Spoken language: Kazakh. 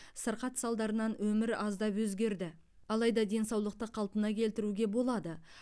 сырқат салдарынан өмір аздап өзгерді алайда денсаулықты қалпына келтіруге болады